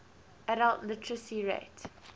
adult literacy rate